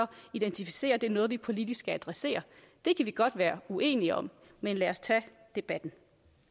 identificerer er noget vi politisk skal adressere det kan vi godt være uenige om men lad os tage debatten